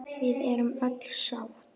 Við erum öll sátt.